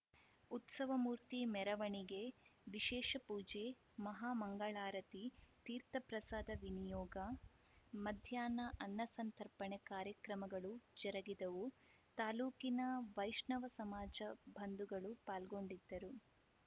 ಉತ್ಸವ ಮೂರ್ತಿ ಮೆರವಣಿಗೆ ವಿಶೇಷ ಪೂಜೆ ಮಹಾಮಂಗಳಾರತಿ ತೀರ್ಥಪ್ರಸಾದ ವಿನಿಯೋಗ ಮಧ್ಯಾಹ್ನ ಅನ್ನಸಂತರ್ಪಣೆ ಕಾರ್ಯಕ್ರಮಗಳು ಜರುಗಿದವು ತಾಲೂಕಿನ ವೈಷ್ಣವ ಸಮಾಜ ಬಂಧುಗಳು ಪಾಲ್ಗೊಂಡಿದ್ದರು